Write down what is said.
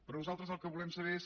però nosaltres el que volem saber és